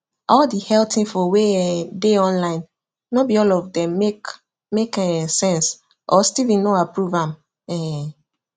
all the health info wey um dey online no be all of dem make make um sense or steven no approve am um